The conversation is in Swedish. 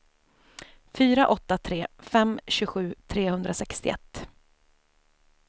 fyra åtta tre fem tjugosju trehundrasextioett